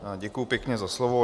Děkuji pěkně za slovo.